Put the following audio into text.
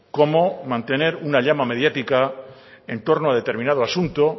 como mantener una llama mediática entorno a determinado asunto